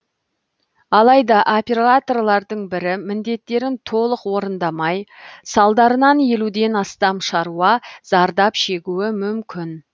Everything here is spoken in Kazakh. алайда операторлардың бірі міндеттерін толық орындамай салдарынан елуден астам шаруа зардап шегуі мүмкін